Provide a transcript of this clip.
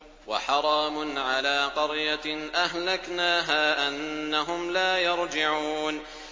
وَحَرَامٌ عَلَىٰ قَرْيَةٍ أَهْلَكْنَاهَا أَنَّهُمْ لَا يَرْجِعُونَ